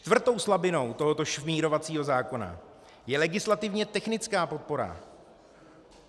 Čtvrtou slabinou tohoto šmírovacího zákona je legislativně technická podpora.